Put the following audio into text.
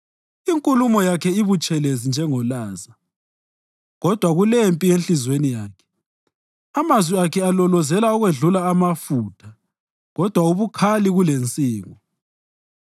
Inkulumo yakhe ibutshelezi njengolaza, kodwa kulempi enhliziyweni yakhe amazwi akhe alolozela ukwedlula amafutha kodwa abukhali kulensingo.